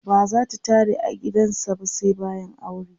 bazata tare a gidan sa ba sai bayan aure